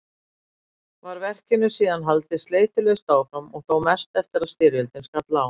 Var verkinu síðan haldið sleitulaust áfram og þó mest eftir að styrjöldin skall á.